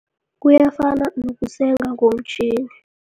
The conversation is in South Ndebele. Kuyafana nokusenga ngomtjhini.